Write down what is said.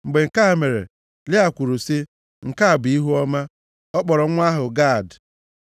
Mgbe nke a mere, Lịa kwuru sị, “Nke a bụ ihuọma.” Ọ kpọrọ nwa ahụ Gad.